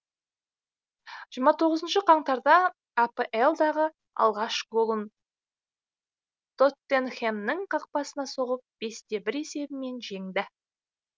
жиырма тоғызыншы қаңтарда апл дағы алғаш голын тоттенхэмнің қақпасына соғып бесте бір есебімен жеңді